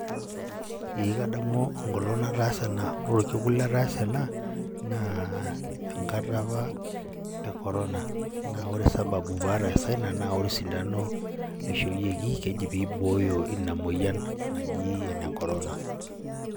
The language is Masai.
Ee kadamu enkolong nataasa ena. Ore orkekun lataasa ena, naa enkata apa e corona. Na ore sababu pataasa ina, na ore osindano ishooyieki, keji pibooyo ina moyian naji ene corona.